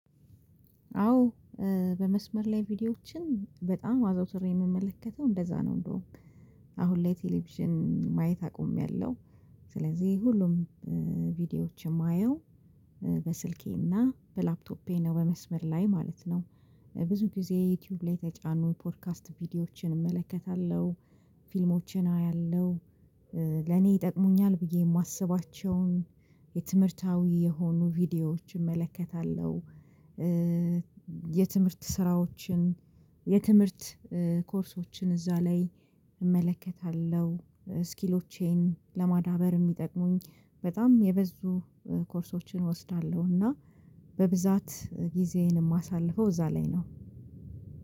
አዎ በመስመር ላይ ቪዲዮዎችን በጣም አዘውትሬ የምመለከተው እንደዛ ነው። እንደውም አሁን ላይ ቴሌቪዥን ማየት አቆሜያለው። ስለዚህ ሁሉም ቪዲዮዎችን የማየው በስልኬና በላፕቶፔ ነው በመስመር ላይ ማለት ነው። ብዙ ጊዜ ዩቲዩብ ላይ የተጫኑ ፖድካስት ቪዲዮዎችን እመለከታለሁ ፊልሞችን አያለሁ። ለኔ ይጠቅሙኛል ብዬ የማስባቸውን የትምህርታዊ የሆኑ ቪዲዮዎች እመለከታለሁ። የትምህርት ስራዎችን የትምህርት ኮርሶችን እዛ ላይ እመለከታለሁ። ስኪሎቼን ለማዳበር የሚጠቅሙኝ በጣም የብዙ ኮርሶችን እወስዳለሁ። እና በብዛት ጊዜዬን የማሳልፈው እዛ ላይ ነው።